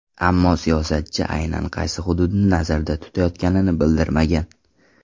Ammo siyosatchi aynan qaysi hududni nazarda tutayotganini bildirmagan.